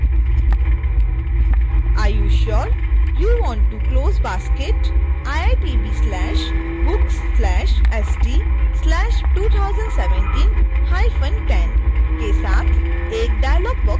are you sure you want to close basket iitb/st/books/201710 के साथ एक डायलॉग बॉक्स खुलता है